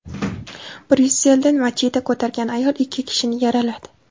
Bryusselda machete ko‘targan ayol ikki kishini yaraladi.